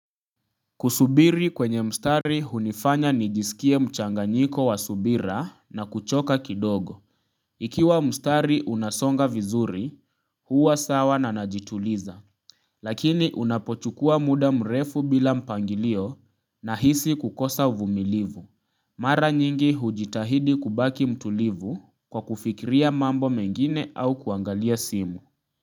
Kusubiri kwenye mstari hunifanya nijisikie mchanganyiko wa subira na kuchoka kidogo. Ikiwa mstari unasonga vizuri huwa sawa na najituliza. Lakini unapochukua muda mrefu bila mpangilio nahisi kukosa uvumilivu. Mara nyingi hujitahidi kubaki mtulivu kwa kufikiria mambo mengine au kuangalia simu.